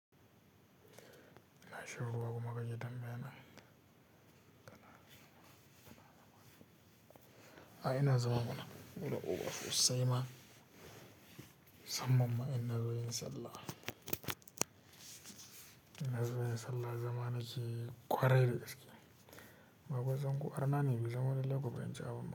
Ina shiruwa kuma kake tamya na. A'a ina zama mana, gulu uku a fussai ma. Musamman ina zo yin sallah. Ina zo yin sallah zamanaki kwarai-da gaske. Babba zango ƙwar nani, mu zamani lagoba yin jawo.